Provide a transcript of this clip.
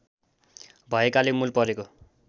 भएकाले मूल परेको